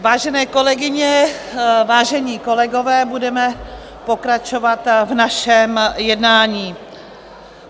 Vážené kolegyně, vážení kolegové, budeme pokračovat v našem jednání.